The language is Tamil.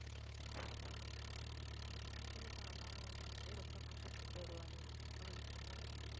அஹ் அப்படி ஆமா என் friend உ ரொம்ப makeup பண்ணிட்டு வருவாளே அவளுக்கு என்ன